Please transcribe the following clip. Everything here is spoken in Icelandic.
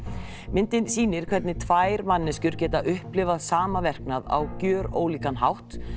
myndin sýnir hvernig tvær manneskjur geta upplifað sama verknað á gjörólíkan hátt